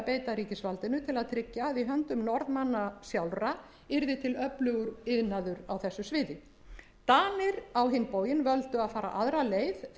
beita ríkisvaldinu til að tryggja að í höndum norðmanna sjálfra yrði til öflugur iðnaður á þessu sviði danir á hinn bóginn völdu að fara aðra leið þegar þeir